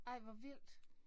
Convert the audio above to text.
Ej hvor vildt